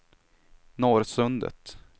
Norrsundet